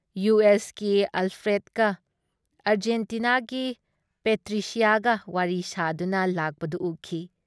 U ꯑꯦꯁꯀꯤ ꯑꯜꯐ꯭ꯔꯦꯗꯀ ꯑꯔꯖꯦꯟꯇꯤꯅꯥꯒꯤ ꯄꯦꯇ꯭ꯔꯤꯁꯤꯌꯥꯒ ꯋꯥꯔꯤ ꯁꯥꯗꯨꯅ ꯂꯥꯛꯄꯗꯨ ꯎꯈꯤ ꯫